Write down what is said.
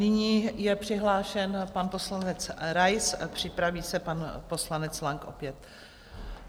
Nyní je přihlášen pan poslanec Rais a připraví se pan poslanec Lang opět.